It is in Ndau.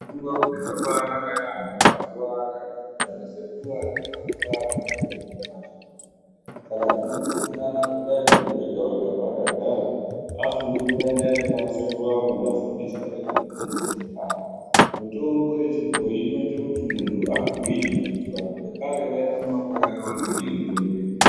Ndau dzakabaanaka yaampo ngekuti ana sekuru akakura achuhluze mutombo achiriyo saka tinokurudzirana kuti dai muntu wega wega paakagara afunge kuti dai ndaende pana sekuru apo ndafundiswa ngezvemutombo wechikara mutombo wechibhoyi inoite kuti muntu agwinye ngekuti vantu vekare vairarama makore akawanda ndiyo mitombo iyi.